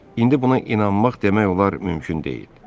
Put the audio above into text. İndi buna inanmaq demək olar mümkün deyil.